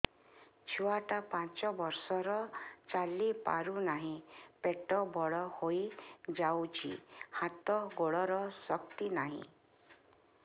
ଛୁଆଟା ପାଞ୍ଚ ବର୍ଷର ଚାଲି ପାରୁନାହଁ ପେଟ ବଡ ହୋଇ ଯାଉଛି ହାତ ଗୋଡ଼ର ଶକ୍ତି ନାହିଁ